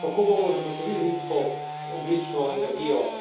Kako bomo zagotovili nizkoogljično energijo?